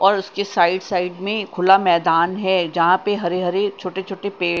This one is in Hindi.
और उसके साइड साइड में खुला मैदान है जहां पे हरे हरे छोटे छोटे पेड़--